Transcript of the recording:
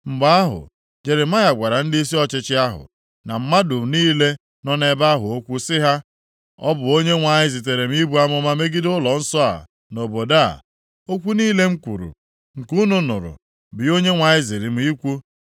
Mgbe ahụ, Jeremaya gwara ndịisi ọchịchị ahụ na mmadụ niile nọ nʼebe ahụ okwu sị ha, “Ọ bụ Onyenwe anyị zitere m ibu amụma megide ụlọnsọ a na obodo a. Okwu niile m kwuru, nke unu nụrụ, bụ ihe Onyenwe anyị ziri m ikwu.